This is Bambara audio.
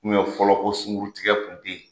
fɔlɔ ko sunguru tigɛ kun te yen.